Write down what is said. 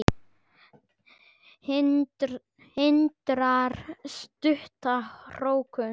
Hindrar stutta hrókun.